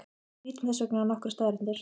Lítum þess vegna á nokkrar staðreyndir.